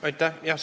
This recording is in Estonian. Aitäh!